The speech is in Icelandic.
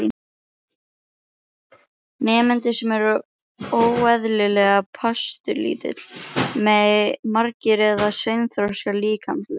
Nemendur sem eru óeðlilega pasturslitlir, magrir eða seinþroska líkamlega.